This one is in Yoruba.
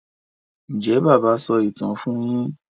Njé bàbá so ìtàn fún yín?